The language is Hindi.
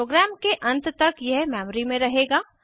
प्रोग्राम के अंत तक यह मेमरी में रहेगा